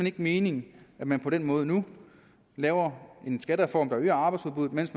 ikke mening at man på den måde nu laver en skattereform der øger arbejdsudbuddet mens